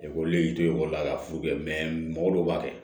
Ekɔliden tɛ ekɔli la ka furu kɛ mɛ mɔgɔ dɔw b'a kɛ